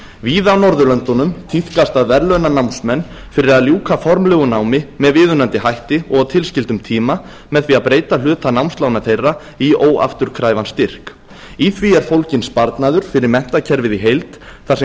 víða á norðurlöndunum tíðkast að verðlauna námsmenn fyrir að ljúka formlegu námi með viðunandi hætti og á tilskildum tíma með því að breyta hluta námslána þeirra í óafturkræfan styrk í því er fólginn sparnaður fyrir menntakerfið í heild þar sem